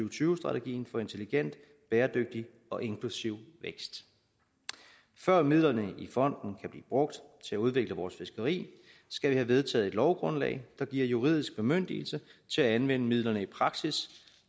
og tyve strategien for intelligent bæredygtig og inklusiv vækst før midlerne i fonden kan blive brugt til at udvikle vores fiskeri skal vi have vedtaget et lovgrundlag der giver juridisk bemyndigelse til at anvende midlerne i praksis